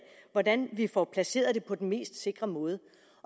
hvordan vi får placeret det på den mest sikre måde